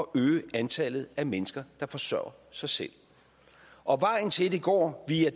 øge antallet af mennesker der forsørger sig selv og vejen til det går